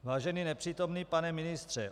Vážený nepřítomný pane ministře.